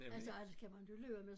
Altså alt kan man jo løbe med så